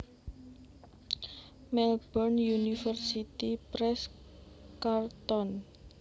Melbourne University Press Carlton